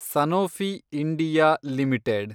Sanofi India limited